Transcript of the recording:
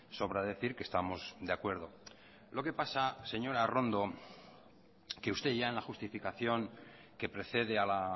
sobra decir que estamos de acuerdo lo que pasa señora arrondo que usted ya en la justificación que precede a la